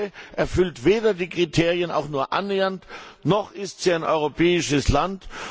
Die Türkei erfüllt weder die Kriterien auch nur annähernd, noch ist sie ein europäisches Land.